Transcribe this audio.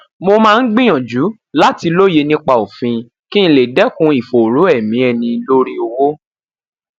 mo ń gbìyànjú láti lóye nipa òfin kí n lè dekun ìfòòró emi ẹni lori owo